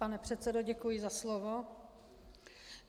Pane předsedo, děkuji za slovo.